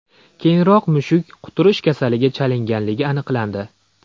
Keyinroq mushuk quturish kasaliga chalinganligi aniqlandi.